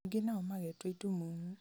angĩ nao magetua itumumu